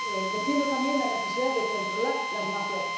Defiendo también la necesidad de controlar las mafias.